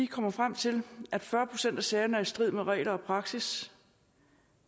kommer frem til at fyrre procent af sagerne er i strid med regler og praksis